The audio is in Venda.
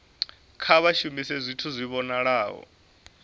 kha vha shumise zwithu zwi vhonalaho